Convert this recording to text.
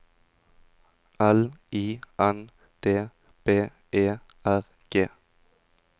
L I N D B E R G